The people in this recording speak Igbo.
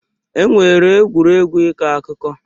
E nwere egwuregwu ịkọ akụkọ.